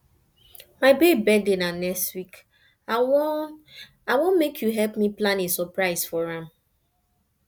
my babe birthday na next week i wan i wan make you help me plan a surprise for am